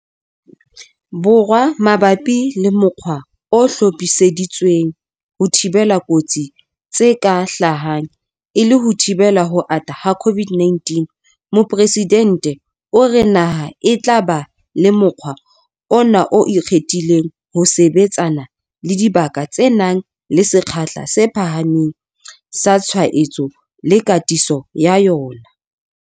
Borwa mabapi le mokgwa o hlophiseditsweng ho thibela kotsi tse ka hlahang e le ho thibela ho ata ha COVID-19, Mopresidente o re naha e tla ba le mokgwa ona o ikgethileng ho sebetsana le dibaka tse nang le sekgahla se phahameng sa tshwaetso le katiso ya yona.